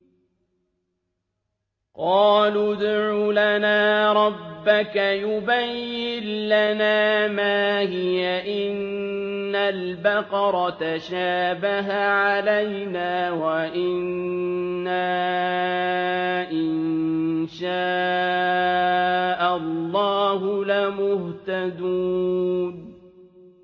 قَالُوا ادْعُ لَنَا رَبَّكَ يُبَيِّن لَّنَا مَا هِيَ إِنَّ الْبَقَرَ تَشَابَهَ عَلَيْنَا وَإِنَّا إِن شَاءَ اللَّهُ لَمُهْتَدُونَ